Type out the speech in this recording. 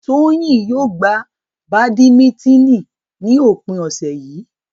Toyin yóò gbá badimitini ní òpin ọ̀sẹ̀ yìí.